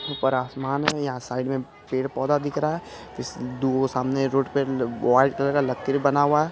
ऊपर आसमान है यहाँ साइड मे पेड़-पौधा दिख रहा है इस दुगो सामने रोड पे वाइट कलर का लकीर बना हुआ है।